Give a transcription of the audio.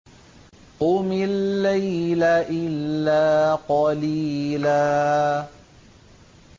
قُمِ اللَّيْلَ إِلَّا قَلِيلًا